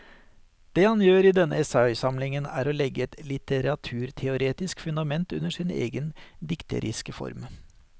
Det han gjør i denne essaysamlingen er å legge et litteraturteoretisk fundament under sin egen dikteriske form.